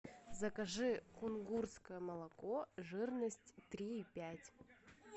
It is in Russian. закажи кунгурское молоко жирность три и пять